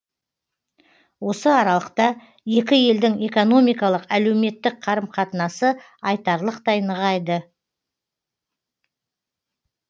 осы аралықта екі елдің экономикалық әлеуметтік қарым қатынасы айтарлықтай нығайды